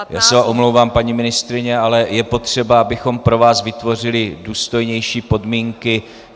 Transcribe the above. Já se omlouvám, paní ministryně, ale je potřeba, abychom pro vás vytvořili důstojnější podmínky.